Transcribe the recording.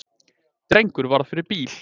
Drengur varð fyrir bíl